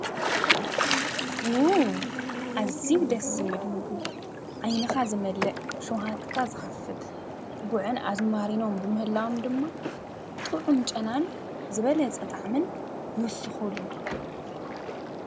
ዉ! አዝዪ ደስ ዝብል ምግቢ። ዓይንኻ ዝመልእ፣ ሸዉሃትካ ዝከፍት፣ ጉዕን አዝማሪኖን ብምህላዎም ድማ ጥዑም ጨናን ዝበለፀ ጣዕምን ይዉስኽሉ።